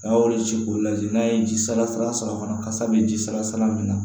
A y'olu ci k'o lajɛ n'a ye ji sala sala sɔrɔ fana kasa bɛ ji sara min na